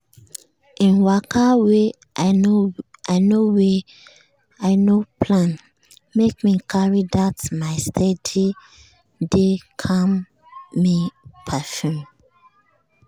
him waka wey i no wey i no plan make me carry that my steady-dey-calm-me perfume.